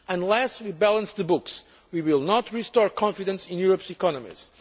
Unless we balance the books, we will not restore confidence in Europe's economies.